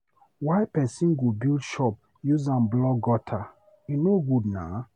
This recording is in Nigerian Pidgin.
why pesin go build shop use am block gutter? E no good naa.